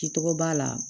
Ki tɔgɔ b'a la